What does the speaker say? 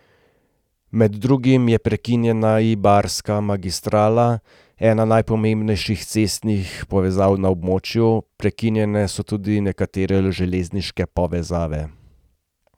Med drugim je prekinjena Ibarska magistrala, ena najpomembnejših cestnih povezav na območju, prekinjene so tudi nekatere železniške povezave.